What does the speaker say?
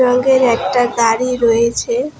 রঙের একটা গাড়ি রয়েছে।